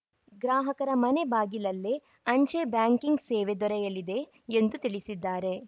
ಗ್ರಾಹಕರ ಮನೆ ಬಾಗಿಲಲ್ಲೇ ಅಂಚೆ ಬ್ಯಾಂಕಿಂಗ್‌ ಸೇವೆ ದೊರೆಯಲಿದೆ ಎಂದು ತಿಳಿಸಿದ್ದಾರೆ